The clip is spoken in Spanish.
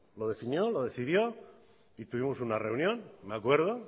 lo definió lo decidió y tuvimos una reunión me acuerdo